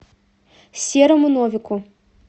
серому новику